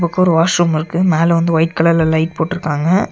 அங்கொரு washroom இருக்கு மேல வந்து ஒய்ட் கலர்ல லைட் போட்டுருக்காங்க.